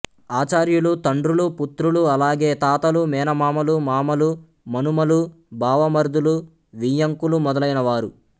ఆచార్యులు తండ్రులు పుత్రులు అలాగే తాతలూ మేనమామలూ మామలూ మనుమలూ బావమరుదులూ వియ్యంకులూ మొదలైన వారు